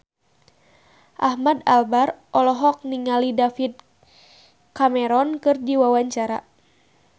Ahmad Albar olohok ningali David Cameron keur diwawancara